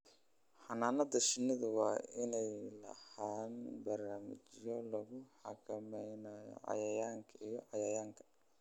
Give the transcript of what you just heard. Xannaanada shinnidu waa inay lahaadaan barnaamijyo lagu xakameynayo cayayaanka iyo cayayaanka.